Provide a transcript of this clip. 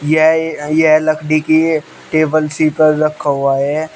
यह ए यह लकड़ी की है टेबल सी पर रखा हुआ है।